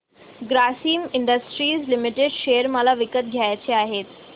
Grasim industries limited share मला विकत घ्यायचे आहेत